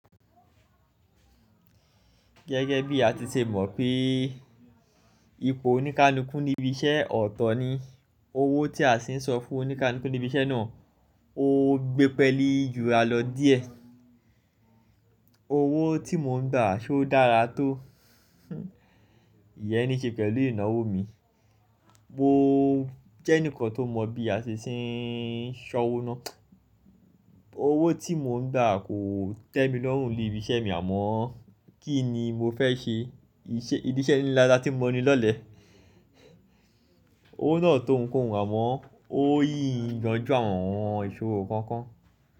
Gẹ́gẹ́ bí a ti ṣe mọ̀ pé ipò oníkánikún ní ibi iṣẹ́ ọ̀tọ̀ ni, owó tí a sì ń sọ fún oníkánikún ní ibi iṣẹ́ náà ó gbé pẹ́lú jura lọ díẹ̀. “Owó tí mò ń gbà ṣé ó dára tó?” ìyẹ́ ní ṣe pẹ̀lú ìnáwó mi. Mo jẹ́ ẹnìkan tó mọ̀ bí a ṣe ń san owó náà. Owó tí mò ń gbà kò tẹ́ mi lọ́hùn ún ní ibi iṣẹ́ mi àmọ́ kín ni mo fẹ́ ṣe, ìdí iṣẹ́ ni láti mọ́ ni lọ́lẹ̀. Owó náà tò ń kóhùn ún àmọ́ ó yìn yọ̀jọ̀ àwọn ohun ìṣòro kọ̀ọ̀kan.